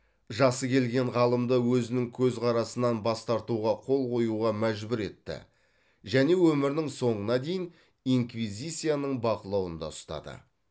жасы келген ғалымды өзінің көзқарасынан бас тартуға қол қоюға мәжбүр етті және өмірінің соңына дейін инквизицияның бақылауында ұстады